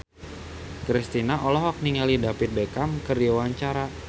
Kristina olohok ningali David Beckham keur diwawancara